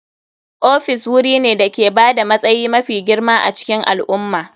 Ofis wuri ne da ke ba da matsayi mafi girma a cikin al'umma.